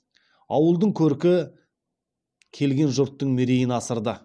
ауылдың көркі келген жұрттың мерейін асырды